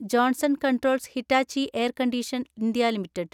Johnson Controls Hitachi Air Condition. India limited